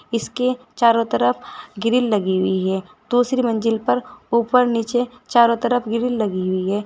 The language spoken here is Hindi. इसके चारों तरफ ग्रिल लगी हुई है दूसरी मंजिल पर ऊपर नीचे चारों तरफ ग्रिल लगी हुई है।